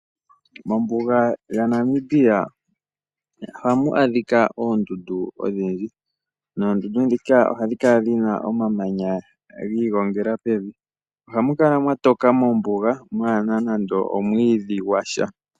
Mombuga yaNamibia ohamu adhika oondundu odhindji. Noondundu ndhika ohadhi kala dhi na omamanya gi igongela pevi. Ohamu kala mwa toka mombuga mwaa na nando omwiidhi gwa sha.